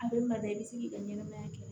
A bɛ maa da i bɛ se k'i ka ɲɛnamaya kɛ